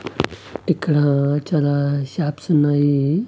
ఇక్కడ చాలా షాప్స్ ఉన్నాయి.